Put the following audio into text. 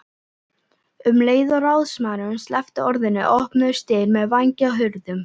Um leið og ráðsmaðurinn sleppti orðinu opnuðust dyr með vængjahurðum.